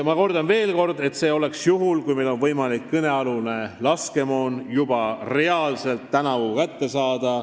Ma kordan veel, et see oleks juhul, kui meil oleks võimalik kõnealune laskemoon juba tänavu reaalselt kätte saada.